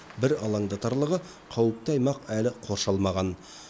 бір алаңдатарлығы қауіпті аймақ әлі қоршалмаған